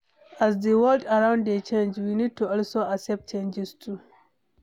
As di world around dey change we need to also accept changes too